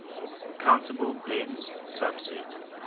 countable dense subset